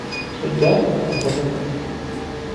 Suja ekutuk.